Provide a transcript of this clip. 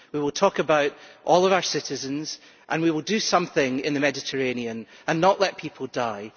we will talk about all of our citizens and we will do something in the Mediterranean and not let people die.